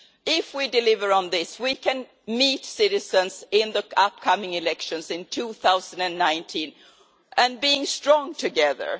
If we deliver on this, we can meet citizens in the upcoming elections in 2019 and be strong together.